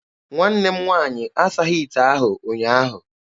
Nwanne m nwaanyị asaghị ite ahụ ụnyaahụ.